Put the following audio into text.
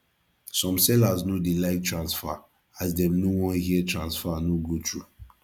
some sellers no dey like transfer as dem no wan hear transfer no go thru